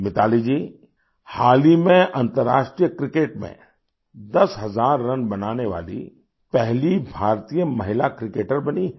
मिताली जी हाल ही में अंतर्राष्ट्रीय क्रिकेट में दस हजार रन बनाने वाली पहली भारतीय महिला क्रिकेटर बनी हैं